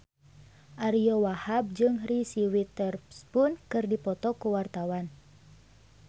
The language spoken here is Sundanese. Ariyo Wahab jeung Reese Witherspoon keur dipoto ku wartawan